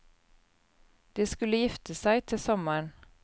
De skulle gifte seg til sommeren.